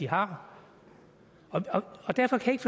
har derfor synes